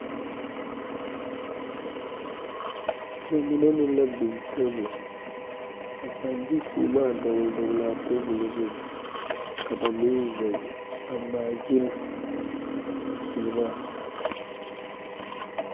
Nobɔ mine meŋ la biŋ tabol a paŋ de sèèmaa dɔgle dɔglaa tabol zu ka ba meŋ zeŋ a ngmaa gyille a sèèmaa.